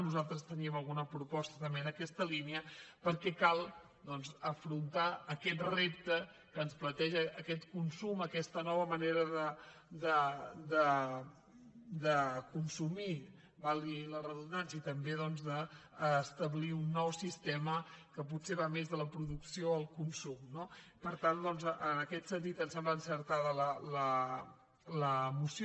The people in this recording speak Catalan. nosaltres teníem alguna proposta també en aquesta línia per·què cal doncs afrontar aquest repte que ens plante·ja aquest consum aquesta nova manera de consumir valgui la redundància i també d’establir un nou siste·ma que potser va més de la producció al consum no per tant doncs en aquest sentit ens sembla encertada la moció